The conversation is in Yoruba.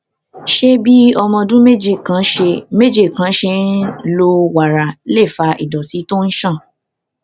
ṣé bí ọmọ ọdún méje kan ṣe méje kan ṣe ń lo wàrà lè fa ìdòtí tó ń ṣàn